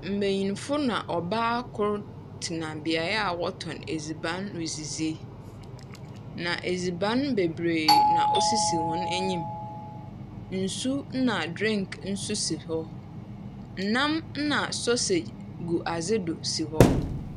Mbenyinfo na ɔbaa koro tena beaeɛ a wɔtɔn edziban redzidzi. Na edziban beberee na osisi wɔn anim. Nsu ɛna dreenk nso si hɔ. Nam ɛna sɔsage gu adze do si hɔ.